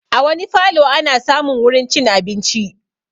A wani falo ana samun wurin cin abinci